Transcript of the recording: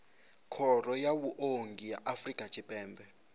khoro ya vhuongi ya afrika tshipembe